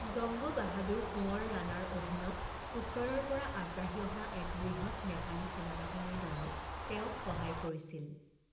জঙ্গ বাহাদুৰ কুঁৱৰ ৰাণাৰ অধীনত উত্তৰৰ পৰা আগবাঢ়ি অহা এক বৃহৎ নেপালী সেনাবাহিনীৰ দলে তেওঁক সহায় কৰিছিল।